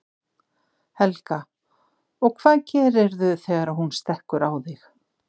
Helga: Og hvað gerirðu þegar hún stekkur á þig?